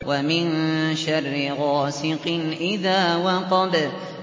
وَمِن شَرِّ غَاسِقٍ إِذَا وَقَبَ